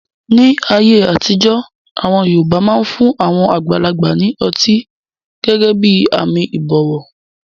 Ní ayé àtijọ́, àwọn yoòbá máa fun àwọn àgbàlagbà ní ọtí gẹ́gẹ́ bí àmì ìbọ̀wọ̀